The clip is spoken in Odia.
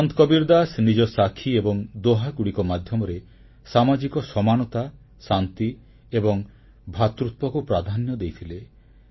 ସନ୍ଥ କବୀରଦାସ ନିଜ ବାଣୀ ଏବଂ ଦୋହାଗୁଡ଼ିକ ମାଧ୍ୟମରେ ସାମାଜିକ ସମାନତା ଶାନ୍ତି ଏବଂ ଭ୍ରାତୃତ୍ୱକୁ ପ୍ରାଧାନ୍ୟ ଦେଇଥିଲେ